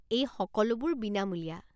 এই সকলোবোৰ বিনামূলীয়া।